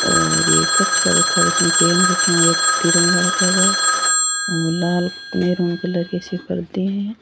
और कप सा रखा हुआ है इसमें पेन रखा है एक तिरंगा रखा हुआ है और लाल कलर मेहरून कलर की सी पर्दे है।